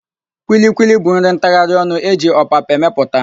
Kwilikwili bụ nri ntagharịonụ e ji ọpapa emepụta.